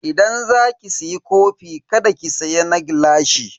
Idan za ki siya kofi kada ki siya na gilashi.